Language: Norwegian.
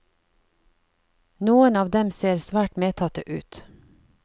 Noen av dem ser svært medtatte ut.